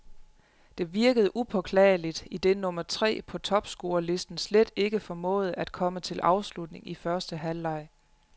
Det virkede upåklageligt, idet nummer tre på topscorerlisten slet ikke formåede at komme til afslutning i første halvleg.